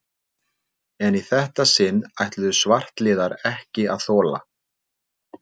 En í þetta sinn ætluðu svartliðar ekki að þola